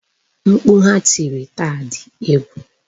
Mkpu ha tiri taa di egwu.